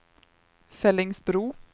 Fellingsbro